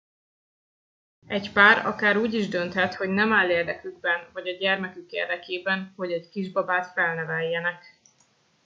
egy pár akár úgy is dönthet hogy nem áll érdekükben vagy a gyermekük érdekében hogy egy kisbabát felneveljenek